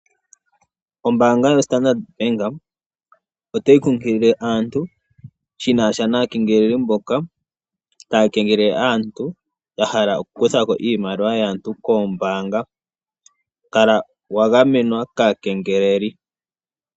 Ombaanga yoStandard, otayi kunkilile aantu shinasha naakengeleledhi mboka taya kengelele aantu yahala okukutha ko iimaliwa yaantu koombaanga, kala wagamenwa kaakengeleli.